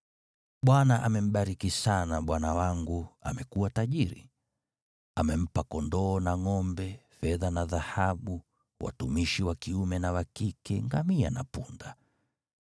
Bwana amembariki sana bwana wangu, amekuwa tajiri. Amempa kondoo na ngʼombe, fedha na dhahabu, watumishi wa kiume na wa kike, ngamia na punda.